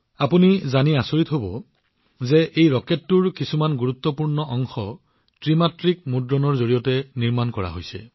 আপোনালোকে জানি আচৰিত হব যে এই ৰকেটৰ কিছুমান গুৰুত্বপূৰ্ণ অংশ ত্ৰিমাত্ৰিক মুদ্ৰণৰ জৰিয়তে নিৰ্মাণ কৰা হৈছে